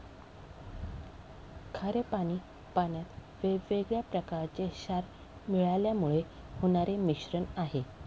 खारे पाणी पाण्यात वेगवेगळ्या प्रकारचे क्षार मिळाल्यामुळे होणारे मिश्रण आहे.